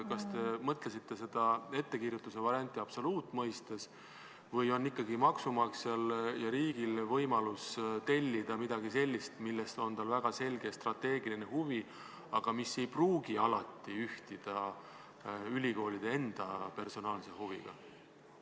Kas te mõtlesite seda ettekirjutuse varianti absoluutmõistes või on maksumaksjal ja riigil ikkagi võimalus tellida midagi sellist, milleks tal on väga selge strateegiline huvi, aga mis ei pruugi alati ühtida ülikoolide enda personaalse huviga?